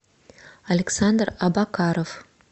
александр абакаров